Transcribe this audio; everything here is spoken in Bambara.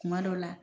Kuma dɔw la